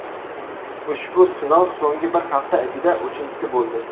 Ushbu sinov so‘nggi bir hafta ichida uchinchisi bo‘ldi.